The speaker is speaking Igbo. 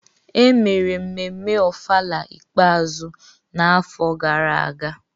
Emere mmemme Ofala ikpeazụ n’afọ gara aga.